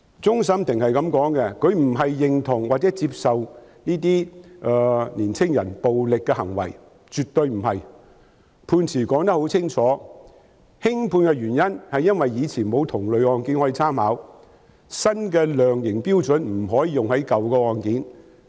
終審法院表示並非認同或接受這些青年人的暴力行為，絕對不是這樣，判詞寫得很清楚，輕判的原因是過往沒有同類案件可作參考，新的量刑標準不能用於舊案件。